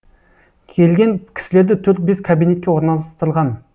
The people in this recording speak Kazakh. келген кісілерді төрт бес кабинетке орналастырған